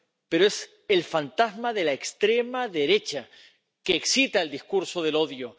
Pero es el fantasma de la extrema derecha, que excita el discurso del odio.